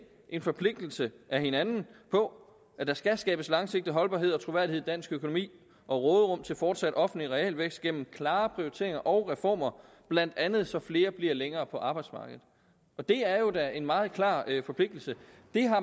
en forpligtelse af hinanden på at der skal skabes langsigtet holdbarhed og troværdighed i dansk økonomi og råderum til en fortsat offentlig realvækst gennem klare prioriteringer og reformer blandt andet så flere bliver længere på arbejdsmarkedet det er jo da en meget klar forpligtelse